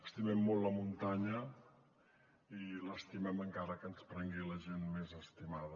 estimem molt la muntanya i l’estimem encara que ens prengui la gent més estimada